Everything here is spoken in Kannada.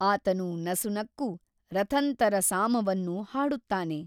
ಆತನು ನಸುನಕ್ಕು ರಥಂತರ ಸಾಮವನ್ನು ಹಾಡುತ್ತಾನೆ.